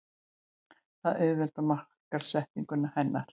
Það auðveldar markaðssetningu hennar.